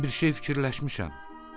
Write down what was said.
Mən bir şey fikirləşmişəm."